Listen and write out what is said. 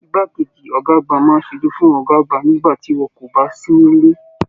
Ìgbà keji ọgá àgbà máa n sójú fún ọgá àgbà nígbà tí wọn kò bá sì nilé.